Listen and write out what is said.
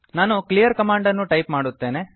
ನಾನು clear command ಅನ್ನು type ಮಾಡುತ್ತೇನೆ